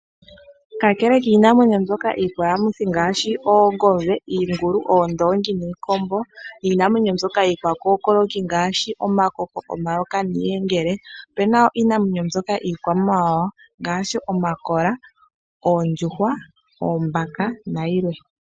Kakele kiinamwenyo mbyoka iikwayamuthi ngaashi oongombe, iingulu, oondongi niikombo niinamwenyo mbyoka iikwakokoloki ngaashi omakoko, omayoka niiyengele opuna wo iinamwenyo mbyoka iikwamawawa ngaashi omakola, oondjuhwa, oombaka nayilwe.